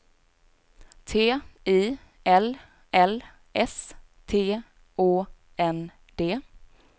T I L L S T Å N D